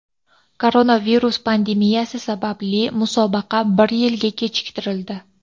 Koronavirus pandemiyasi sababli musobaqa bir yilga kechiktirildi.